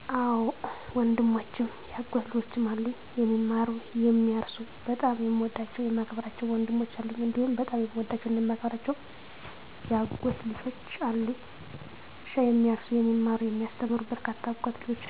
አወ ወንድሞችም የአጎት ልጆችም አሉኝ፦ የሚማሩ፣ የሚያርሱ በጣም የምወዳቸው የማከብራቸው ወንድሞች አሉኝ፤ *እንዲሁም በጣም የምወዳቸውና የማከብራቸው የአጎት ልጆችም አሉኝ፤ *እርሻ የሚያርሱ *የሚማሩ *የሚያስተምሩ በርካታ የአጎት ልጆች አሉኝ።